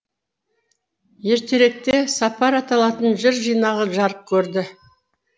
ертеректе сапар аталатын жыр жинағы жарық көрді